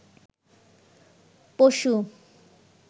পশু